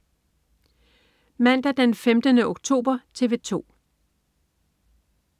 Mandag den 15. oktober - TV 2: